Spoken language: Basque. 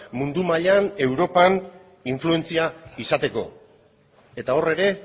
mundu mailan europan influentzia izateko eta hor ere